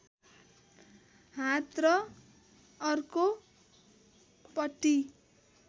हात र अर्कोपट्टी